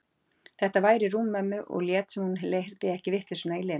Þetta væri rúm mömmu, og lét sem hún heyrði ekki vitleysuna í Lenu.